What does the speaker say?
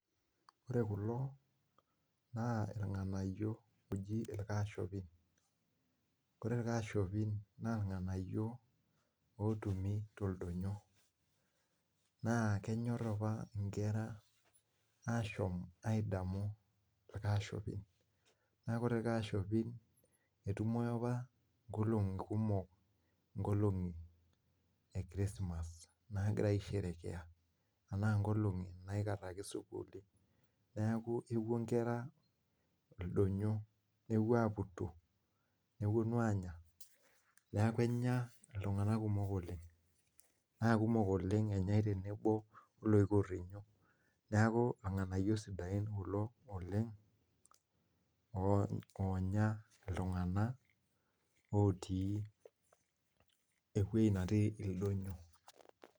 Ore kulo naa irng'anayiok oji irkashopin. Kore irkashopin naa irng'anayiok ootumi toldonyo. Naa kenyorr opa inkera aashom aidamu irkashopin. Naa kore irkashopin etumoyu opa nkolong'i kumok, nkolong'i e krismas naagirai aisherekea enaa nkolong'i naikarraki sukuul. Neeku epwo inkera ildonyo nepwo aaputu nepwonu aanya neeku enya iltung'anak kumok oleng. Naa kumok oleng enyae tenebo oloikurrinyo. Neeku irng'anayiok sidain kulo oleng oonya iltung'anak otii ewuei natii ildonyo